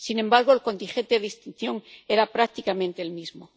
Sin embargo, el contingente de extinción era prácticamente el mismo.